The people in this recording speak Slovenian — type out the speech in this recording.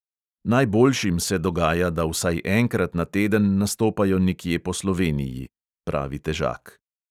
"Najboljšim se dogaja, da vsaj enkrat na teden nastopajo nekje po sloveniji," pravi težak.